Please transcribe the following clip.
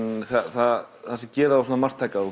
það sem gerir þá svona marktæka og